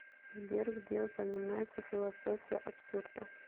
сбер где упоминается философия абсурда